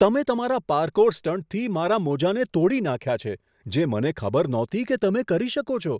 તમે તમારા પાર્કોર સ્ટંટથી મારા મોજાને તોડી નાખ્યા છે, જે મને ખબર નહોતી કે તમે કરી શકો છો.